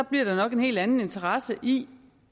bliver der nok en helt anden interesse i